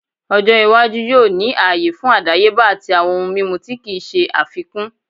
Ojo iwaju yoo ni aaye fun adayeba ati awọn ohun mimu ti kii ṣe afikun